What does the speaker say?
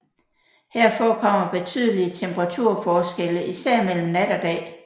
Her forekommer betydelige temperaturforskelle især mellem nat og dag